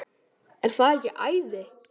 Er það ekki æði?